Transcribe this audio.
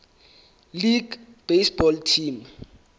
league baseball team